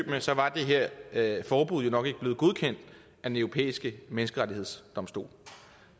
med så var det her her forbud jo nok ikke blevet godkendt af den europæiske menneskerettighedsdomstol